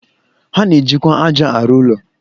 Ha na-ejikwa ájá arụ ụlọ